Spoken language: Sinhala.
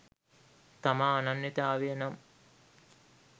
තම අනන්‍යතාවයනම්